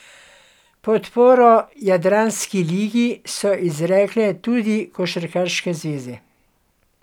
Podporo jadranski ligi so izrekle tudi košarkarske zveze.